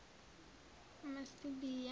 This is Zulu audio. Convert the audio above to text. masibiya